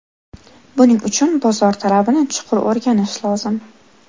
Buning uchun bozor talabini chuqur o‘rganish lozim.